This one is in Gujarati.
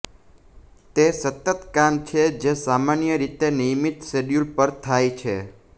તે સતત કામ છે જે સામાન્ય રીતે નિયમિત શેડ્યૂલ પર થાય છે